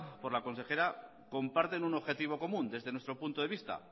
por la consejera comparten un objetivo común desde nuestro punto de vista